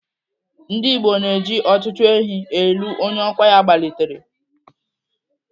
Ndigbo na-eji ọtụtụ ehi elu onye ọkwa ya gbalitere.